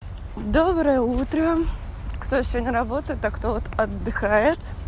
доброе утро кто сегодня работает а кто отдыхает